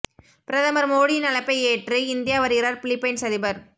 பிரதமர் மோடியின் அழைப்பை ஏற்று இந்தியா வருகிறார் பிலிப்பைன்ஸ் அதிபர்